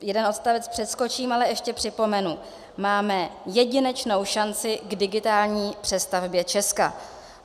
Jeden odstavec přeskočím, ale ještě připomenu: Máme jedinečnou šanci k digitální přestavbě Česka.